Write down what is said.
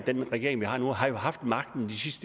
den regering vi har nu har jo haft magten